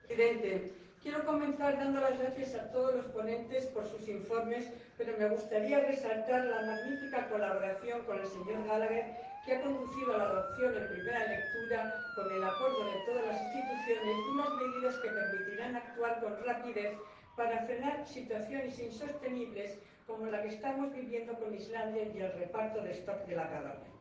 Señor Presidente, quiero comenzar dando las gracias a todos los ponentes por sus informes, pero me gustaría resaltar la magnífica colaboración con el señor Gallagher, que ha conducido a la adopción en primera lectura, con el acuerdo de todas las instituciones, de unas medidas que permitirán actuar con rapidez para frenar situaciones insostenibles, como la que estamos viviendo con Islandia y el reparto de de la caballa.